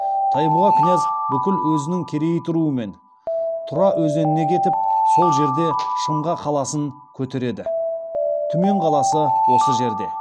тайбұға князь бүкіл өзінің керейт руымен тұра өзеніне кетіп сол жерде шымға қаласын көтерді түмен қаласы осы жерде